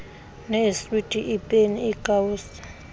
neeswiti iipeni iikawusi